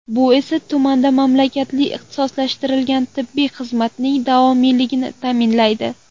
Bu esa, tumanda malakali ixtisoslashtirilgan tibbiy xizmatning davomiyligini ta’minlaydi.